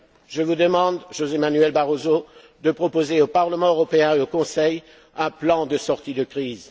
le seul! Je vous demande, José Manuel Barroso, de proposer au Parlement européen et au Conseil un plan de sortie de